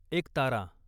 एकतारा